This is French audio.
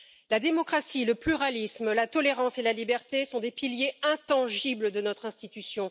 La démocratie, le pluralisme, la tolérance et la liberté sont des piliers intangibles de notre institution.